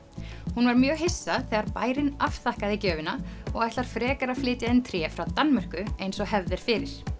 hún var mjög hissa þegar bærinn afþakkaði gjöfina og ætlar frekar að flytja inn tré frá Danmörku eins og hefð er fyrir